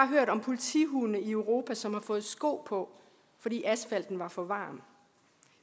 hørt om politihunde i europa som har fået sko på fordi asfalten var for varm